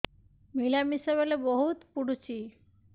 ମିଳାମିଶା ବେଳେ ବହୁତ ପୁଡୁଚି